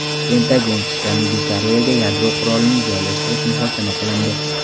Pentagon: Janubiy Koreyaga yadro qurolini joylashtirish muhokama qilindi.